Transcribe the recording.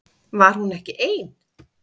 Var hún ekki ein?